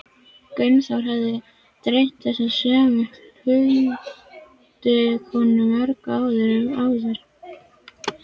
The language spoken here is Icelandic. Gunnþórunni hafði dreymt þessa sömu huldukonu mörgum árum áður.